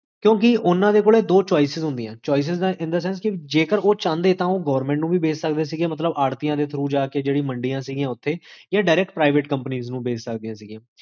ਤ੍ਯੁਈ